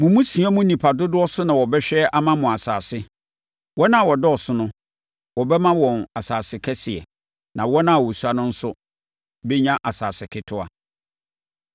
Mo mmusua mu nnipa dodoɔ so na wɔbɛhwɛ ama mo asase. Wɔn a wɔdɔɔso no, wɔbɛma wɔn asase kɛseɛ na wɔn a wɔsua no nso bɛnya asase ketewa.